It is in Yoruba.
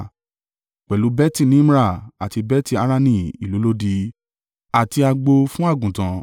pẹ̀lú Beti-Nimra, àti Beti-Harani ìlú olódi, àti agbo fún àgùntàn.